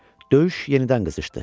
Döyüş yenidən qızışdı.